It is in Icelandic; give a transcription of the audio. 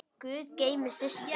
Guð geymi Systu.